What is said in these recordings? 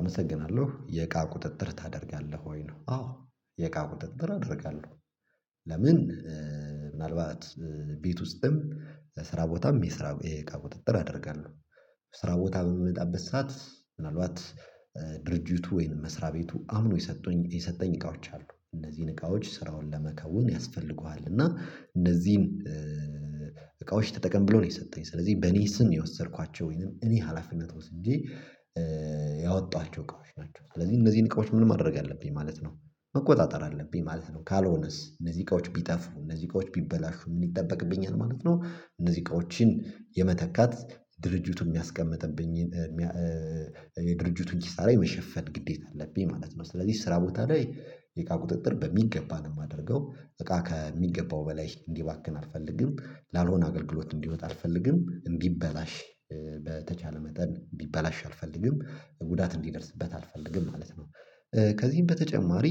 አመሰግናለሁ የእቃ ቁጥጥር ታደርጋለህ ወይ ነው? አዎ የእቃ ቁጥጥር አደርጋለሁ። ለምን ምናልባት ቤት ውስጥም ስራ ቦታም የስራ የእቃ ቁጥጥር አደርጋለሁ። ስራ ቦታ በምመጣበት ሰዓት ምናልባት ድርጅቱ ወይም መስሪያ ቤቱ አምኖ የሰጡኝ የሰጠኝ እቃዎች አሉ እነዚህን እቃዎች ስራውን ለመከውን ያስፈልጉሃል እና እነዚህን እቃዎች ተጠቀም ብሎ ነው። የሰጠኝ ስለዚህ በኔ ስም የወሰድኳቸው ወይንም እኔ ሀላፊነት ወስጄ ያወጣኋቸው እቃዎች ናቸው። ስለዚህ እነዚህን እቃዎች ምን ማድረግ አለብኝ ማለት ነው መቆጣጠር አለብኝ ማለት ነው። ካልሆነስ እነዚህ እቃዎች ቢጠፉ እነዚህ እቃዎች ቢበላሹ ምን ይጠበቅብኛል ማለት ነው። እነዚህ እቃዎችን የመተካት ድርጅቱ የሚያስቀምጥብኝ የድርጅቱን ኪሳራ የመሸፈን ግዴታ አለብኝ ማለት ነው። ስለዚህ ስራ ቦታ ላይ የእቃ ቁጥጥር በሚገባ ነው የማደርገው። እቃ ከሚገባው በላይ እንዲባክን አልፈልግም። ላልሆነ አገልግሎት እንዲወጣ አልፈልግም እንዲበላሽ። በተቻለ መጠን እንዲበላሽ አልፈልግም ጉዳት እንዲደርስበት አልፈልግም ማለት ነው። ከዚህም በተጨማሪ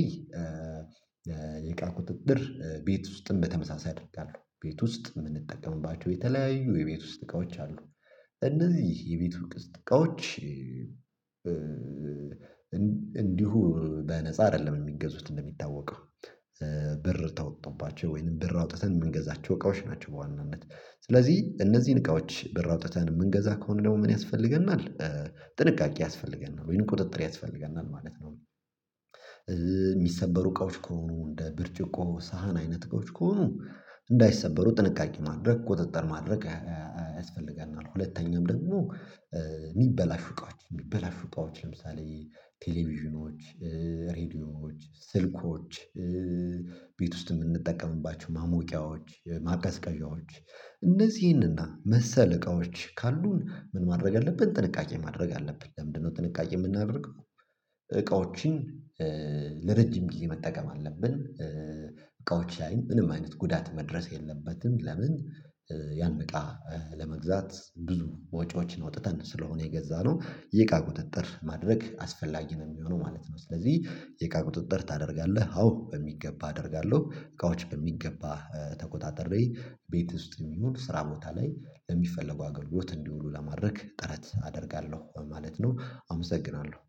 የእቃ ቁጥጥር ቤት ውስጥም በተመሳሳይ አድርጋለሁ ቤት ውስጥ የምንጠቀምባቸው የተለያዩ የቤት ውስጥ እቃዎች አሉ እነዚህ የቤቱ እቃዎች። እንዲሁ በነፃ አይደለም የሚገዙት እንደሚታወቀው ብር ተወጥቶባቸው ወይንም ብር አውጥተን የምንገዛቸው እቃዎች ናቸው። በዋናነት ስለዚህ እነዚህን እቃዎች ብር አውጥተን የምንገዛ ከሆነ ደግሞ ምን ያስፈልገናል? ጥንቃቄ ያስፈልገናል ወይን ቁጥጥር ያስፈልገናል ማለት ነው። የሚሰበሩ እቃዎች ከሆኑ እንደ ብርጭቆ ሳህን አይነት እቃዎች ከሆኑ እንዳይሰበሩ ጥንቃቄ ማድረግ ቁጥጥር ማድረግ ያስፈልጋል። ሁለተኛም ደግሞ የሚበላሹ እቃዎች የሚበላሹ እቃዎች ለምሳሌ ቴሌቪዥኖች ሬዲዮዎች ስልኮች። ቤት ውስጥ የምንጠቀምባቸው ማሞቂያዎች ማቀስቀዣዎች እነዚህንና መሰለ እቃዎች ካሉን ምን ማድረግ ያለብን ጥንቃቄ ማድረግ አለብን። ለምንድነው ጥንቃቄ የምናደርግ እቃዎችን ለረጅም ብዬ መጠቀም አለብን። እቃዎች ላይ ምንም አይነት ጉዳት መድረስ የለበትም። ለምን ያን እቃ ለመግዛት ብዙ ወጪዎችን አወጥተን ስለሆነ የገዛነው የእቃ ቁጥጥር ማድረግ አስፈላጊ ነው። የሚሆነው ማለት ነው ስለዚህ የእቃ ቁጥጥር ታደርጋለህ? አዎ በሚገባ አደርጋለሁ እቃዎች በሚገባ ተቆጣጥሬ ቤት ውስጥም ይሆን ስራ ቦታ ላይ ለሚፈለጉ አገልግሎት እንዲውሉ ለማድረግ ጥረት አደርጋለሁ ማለት ነው። አመሰግናለሁ